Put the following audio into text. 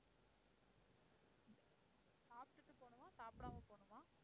சாப்டுட்டு போணுமா, சாப்பிடாம போணுமா?